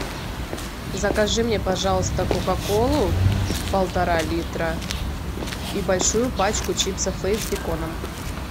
закажи мне пожалуйста кока колу полтора литра и большую пачку чипсов лейс с беконом